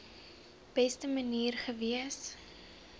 beste manier gewees